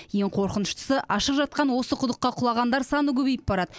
ең қорқыныштысы ашық жатқан осы құдыққа құлағандар саны көбейіп барады